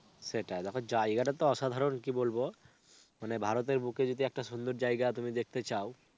সেটাই. দেখো জায়গাটা তো অসাধারণ কি বলব. মানে ভারতের বুকে যদি একটা সুন্দর জায়গা তুমি দেখতে চাও,